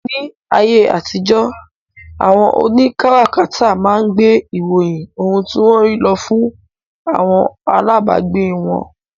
Ní ayé àtijó, àwọn òní kárakáta máa ń gbé ìròyìn ohun tí wọ́n rí lọ fún àwọn alábagbé wọn